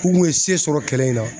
K'u kun ye se sɔrɔ kɛlɛ in na.